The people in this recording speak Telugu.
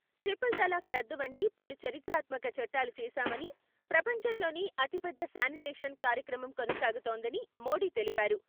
ట్రిపుల్ తలాక్ రద్దు వంటి పలు చరిత్రాత్మక చట్టాలు చేశామని, ప్రపంచంలోనే అతిపెద్ద శానిటేషన్ కార్యక్రమం కొనసాగుతోందని మోడీ తెలిపారు.